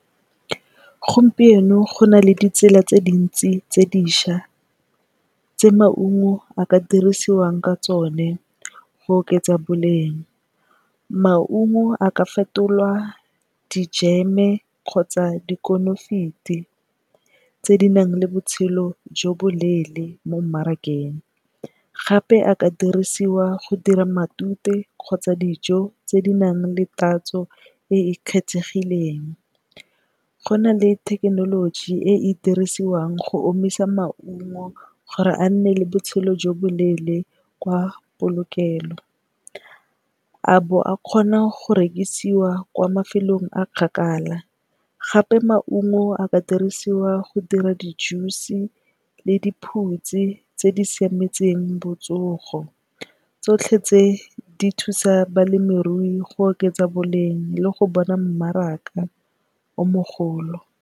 Gompieno go na le di tsela tse dintsi tse dišwa tse maungo a ka dirisiwang ka tsone go oketsa boleng. Maungo a ka fetolwa dijeme kgotsa dikonofiti tse di nang le botshelo jo bo leele mo mmarakeng, gape a ka dirisiwa go dira matute kgotsa dijo tse di nang le tatso e e kgethegileng. Go na le thekenoloji e e dirisiwang go omisa maungo gore a nne le botshelo jo bo leele kwa polokelo, a bo a kgona go rekisiwa kwa mafelong a kgakala. Gape, maungo a ka dirisiwa go dira di juice le diphutsi tse di siametseng botsogo, tsotlhe tse di thusa balemirui go oketsa boleng le go bona mmaraka o mogolo.